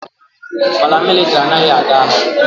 Paramilitary anaghị aga agha.